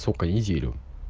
сколько неделю